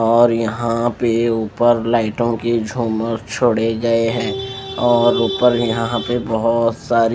और यहां पे ऊपर लाइटों की झूमर छोड़े गए हैं और ऊपर यहां पे बहोत सारी--